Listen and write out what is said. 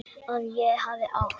Að ég hafi átt.?